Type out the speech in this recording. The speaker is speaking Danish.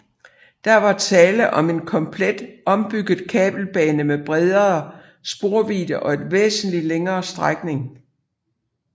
Der var tale om en komplet ombygget kabelbane med bredere sporvidde og en væsentligt længere strækning